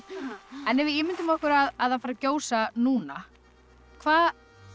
en ef við ímyndum okkur að það færi að gjósa núna hvað